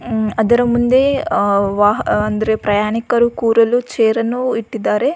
ಅದರ ಮುಂದೆ ವಾಹನ ಅಂದರೆ ಪ್ರಯಾಣಿಕರು ಕೂರಲು ಚೇರನ್ನು ಇಟ್ಟಿದ್ದಾರೆ.